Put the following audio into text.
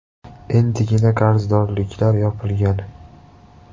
Endigina qarzdorliklar yopilgan.